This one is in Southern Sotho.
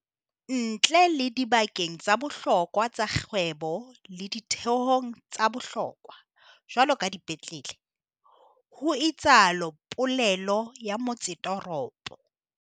"ntle le dibakeng tsa bohlokwa tsa kgwebo le ditheong tsa bohlokwa, jwaloka dipetlele," ho itsalo polelo ya motsetoropo.